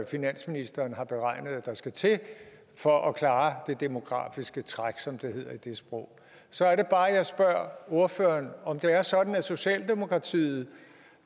finansministeren har beregnet at der skal til for at klare det demografiske træk som det hedder i det sprog så er det bare jeg spørger ordføreren om det er sådan at socialdemokratiet